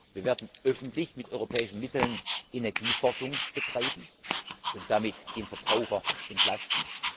Wir werden öffentlich mit europäischen Mitteln Energieforschung betreiben und damit den Verbraucher entlasten.